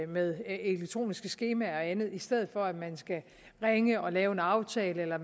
med elektroniske skemaer og andet i stedet for at man skal ringe og lave en aftale eller